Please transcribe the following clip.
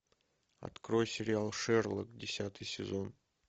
открой сериал шерлок десятый сезон